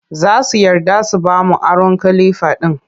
Za su yarda su ba mu aron kalifa ɗin